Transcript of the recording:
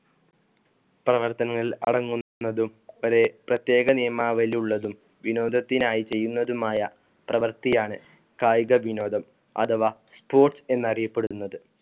പ്രവർത്തനങ്ങൾ അടങ്ങുന്നതും ഒരു പ്രതേക നിയമാവലിയുള്ളതും വിനോദത്തിനായി ചെയ്യുന്നതുമായ പ്രവർത്തിയാണ് കായിക വിനോദം അഥവാ sports എന്ന് അറിയപ്പെടുന്നത്.